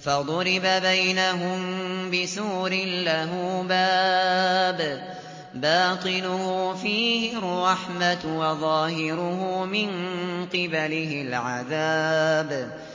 فَضُرِبَ بَيْنَهُم بِسُورٍ لَّهُ بَابٌ بَاطِنُهُ فِيهِ الرَّحْمَةُ وَظَاهِرُهُ مِن قِبَلِهِ الْعَذَابُ